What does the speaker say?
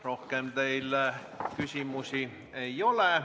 Rohkem teile küsimusi ei ole.